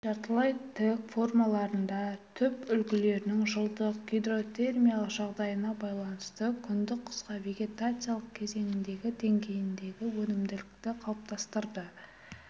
жартылай тік формаларында түп үлгілерінің жылдық гидротермиялық жағдайына байланысты күндік қысқа вегетациялық кезеңіндегі деңгейіндегі өнімділікті қалыптастырды